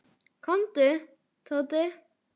Komdu, Tóti.